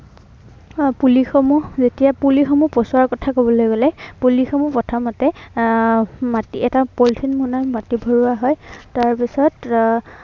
আহ পুলিসমূহ যেতিয়া পুলিসমূহ পচোৱাৰ কথা কবলে গলে, পুলিসমূহ প্ৰথমতে, আহ মাটিৰ এটা মাটিৰ এটা পলিথিন মোনাত মাট ভৰোৱা হয় আৰু তাৰ পিছত এৰ